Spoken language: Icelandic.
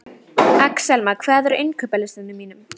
Axelma, hvað er á innkaupalistanum mínum?